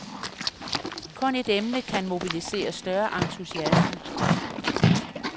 Kun et emne kan mobilisere større entusiasme.